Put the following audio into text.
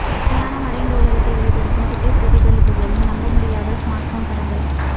இணையான மறைந்த உலகத்தை வெளிப்படுத்தும் குட்டை பிரதிபலிப்புகளின் நம்பமுடியாத ஸ்மார்ட்போன் படங்கள்